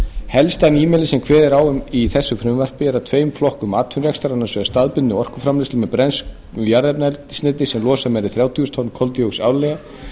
helsta nýmæli sem kveðið er á um í þessu frumvarpi er að tveimur flokkum atvinnurekstrar annars vegar staðbundinni orkuframleiðslu með brennslu jarðefnaeldsneytis sem losar meira en þrjátíu þúsund tonn koldíoxíðs árlega